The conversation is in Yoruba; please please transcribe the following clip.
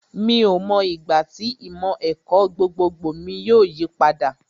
Mi ò mọ ìgbà tí ìmọ̀ ẹ̀kọ́ gbogbogbò mi yóò yí padà